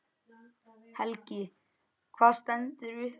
Helgi: Hvað stendur upp úr?